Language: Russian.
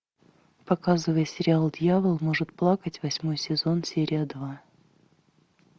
показывай сериал дьявол может плакать восьмой сезон серия два